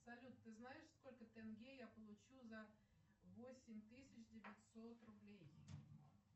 салют ты знаешь сколько тенге я получу за восемь тысяч девятьсот рублей